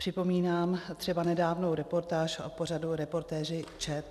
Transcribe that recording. Připomínám třeba nedávnou reportáž v pořadu Reportéři ČT.